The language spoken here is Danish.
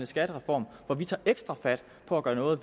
skattereform for vi tager ekstra fat på at gøre noget